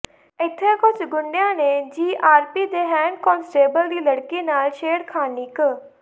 ਇੱਥੇ ਕੁਝ ਗੁੰਡਿਆਂ ਨੇ ਜੀਆਰਪੀ ਦੇ ਹੈੱਡ ਕਾਂਸਟੇਬਲ ਦੀ ਲੜਕੀ ਨਾਲ ਛੇੜਖਾਨੀ ਕ